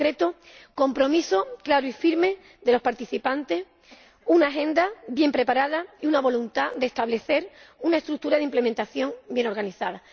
En concreto, compromisos claros y firmes de los participantes, una agenda bien preparada y una voluntad de establecer una estructura de implementación bien organizada.